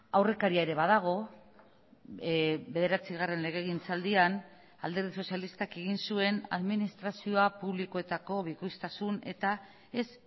aurrekaria ere badago bederatzigarren legegintzaldian alderdi sozialistak egin zuen administrazioa publikoetako bikoiztasun eta ez